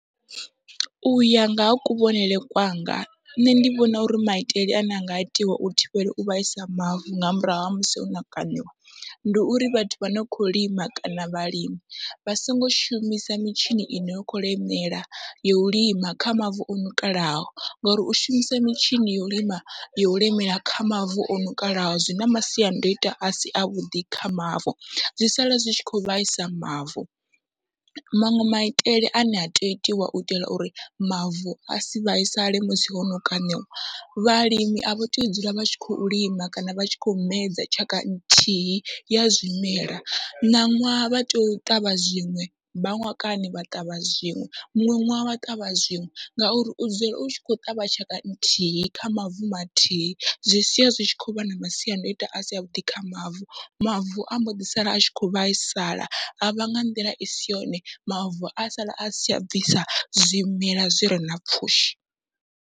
Uya nga ha kuvhonele kwanga nṋe ndi vhona uri maitele ane anga itiwa u thivhela u vhaisa mavu nga murahu ha musi hono kaṋiwa, ndi uri vhathu vha no kho lima kana vhalimi vha songo shumisa mitshini ine ya kho lemela yo u lima kha mavu oṋukalaho, ngori u shumisa mitshini yo u lima yo u lemela kha mavu oṋukalaha zwina masiandaitwa asi avhuḓi kha mavu, zwi sala zwi tshi kho vhaisa mavu. Maṅwe maitele ane ha tei u itiwa uitela uri mavu asi vhaisale musi hono kaṋiwa vhalimi avha tei u dzula vha tshi khou lima kana vha tshi khou medza tshaka nthihi ya zwimela, ṋaṅwaha vha tea u ṱavha zwiṅwe mbamakwani vha ṱavha zwiṅwe, muṅwe ṅwaha vha ṱavha zwiṅwe ngauri u dzula u tshi kho ṱavha tshaka nthihi kha mavu mathihi zwi sia zwi tshi khou vha na masiandaitwa asi avhuḓi kha mavu, mavu amboḓi sala atshi kho vhaisala avha nga nḓila isi yone mavu a sala asi tsha bvisa zwimela zwire na pfhushi.